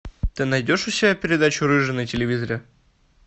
ты найдешь у себя передачу рыжий на телевизоре